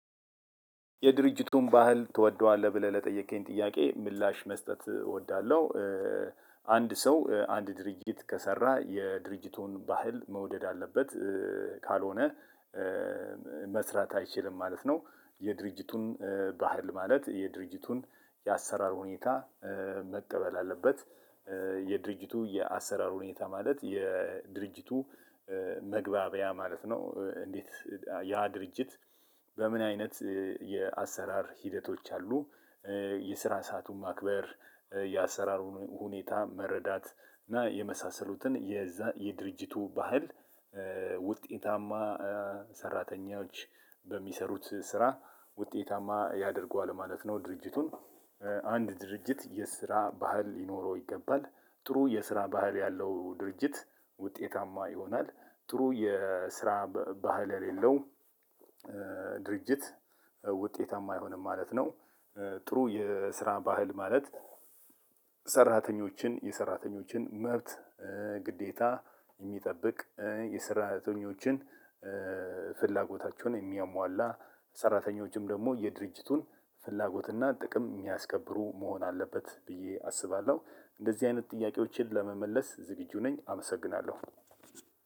የድርጅቱን ባህል ትወደዋለህ ብለህ ለጠየከኝ ጥያቄ ምላሽ መስጠት እወዳለሁ። አንድ ሰው አንድ ድርጅት ከሰራ የድርጅቱን ባህል መውደድ አለበት ካልሆነ መስራት አይችልም ማለት ነው። የድርጅቱን ባህል ማለት የድርጅቱን የአሰራር ሁኔታ መቀበል አለበት። የድርጅቱ የአሰራር ሁኔታ ማለት የድርጅቱ መግባቢያ ማለት ነው። እንዴት ያ ድርጅት በምን አይነት የአሰራር ሂደቶች አሉ? የስራ ሰአቱን ማክበር የአሰራሩን ሁኔታ መረዳት እና የመሳሰሉትን የዛ የድርጅቱ ባህል ውጤታማ ሰራተኞች በሚሰሩት ስራ ውጤታማ ያደርገዋል ማለት ነው። ድርጅቱን አንድ ድርጅት የስራ ባህል ሊኖረው ይገባል ጥሩ የስራ ባህል ያለው ድርጅት ውጤታማ ይሆናል። ጥሩ የስራ ባህል የለለው ድርጅት ውጤታማ አይሆንም ማለት ነው። ጥሩ የስራ ባህል ማለት ሰራተኞችን የሰራተኞችን መብት ግዴታ የሚጠብቅ የሰራተኞችን ፍላጎታቸውን የሚያሟላ ሰራተኞችም ደግሞ የድርጅቱን ፍላጎት እና ጥቅም የሚያስከብሩ መሆን አለበት ብዬ አስባለሁ። እንደዚህ አይነት ጥያቄዎችን ለመመለስ ዝግጁ ነኝ አመሰግናለሁ።